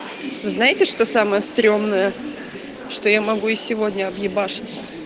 знаете что самое стрёмное что я могу и сегодня объебашиться